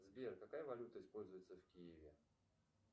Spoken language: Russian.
сбер какая валюта используется в киеве